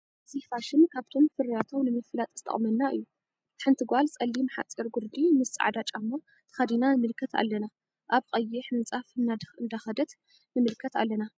እዚ ፋሽን ካብቶም ፍርያቶም ንመፍላጥ ዝጠቅመና እዩ። ሓንቲ ጋል ፀሊም ሓፂር ጉረዲ መስ ፃዕዳ ጫማ ተከዲና ንምልከት ኣለና ኣብ ቀይሕ ምነፃፍ እነዳከደት ንምልከት አለና።